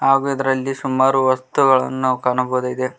ಹಾಗೂ ಇದರಲ್ಲಿ ಸುಮಾರು ವಸ್ತುಗಳನ್ನು ಕಾಣಬಹುದಾಗಿದೆ.